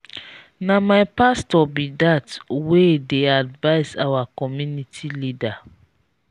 na my pastor be that wey dey advice our community leader